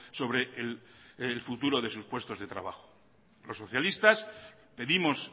sobre el futuro de sus puestos de trabajo los socialistas pedimos